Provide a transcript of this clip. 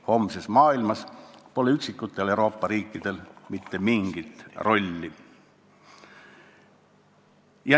Homses maailmas pole üksikutel Euroopa riikidel mingit rolli.